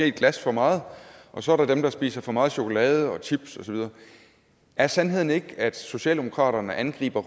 et glas for meget og så er der dem der spiser for meget chokolade og chips og så videre er sandheden ikke at socialdemokraterne angriber